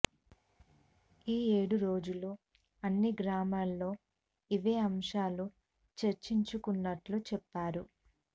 ఈ ఏడు రోజులు అన్ని గ్రామాల్లో ఇవే అంశాలు చర్చించుకున్నట్లు చెప్పారు